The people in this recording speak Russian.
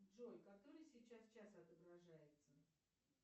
джой который сейчас час отображается